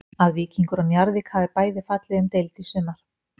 Að Víkingur og Njarðvík hafi bæði fallið um deild í sumar.